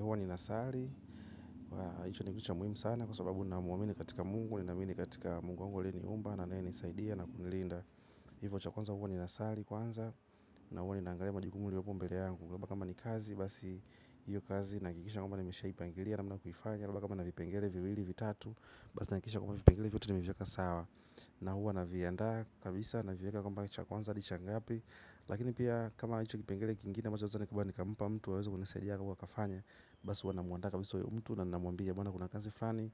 Huwa nina sali. Hicho ni kitu cha muhimu sana kwa sababu na muamini katika Mungu, nina amini katika Mungu wangu aliueniumba, na anaye nisaidia na kunilinda. Hivo cha kwanza huwa ni nasali kwanza, na huwa ninaangalia majukumu iliyopo mbele yangu. Kwamba kama ni kazi, basi hiyo kazi nahakikisha kwamba nimesha ipangilia namna ya kuifanya. Kwamba kama nina vipengele viwili vitatu, basi na hakikisha kwamba vipengele vyote nime viweka sawa. Na huwa na viandaa kabisa, naviweka kwamba cha kwanza, ni cha ngapi. Lakini pia kama hicho kipengele kingine ambacho naeza nikampa mtu aweze kunisaidia au akafanya basi huwa namuandaa kabisa huyo mtu na namwambia maana kuna kazi fani.